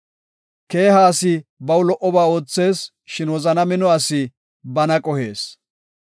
Keeha asi baw lo77oba oothees; shin wozana mino asi bana qohees.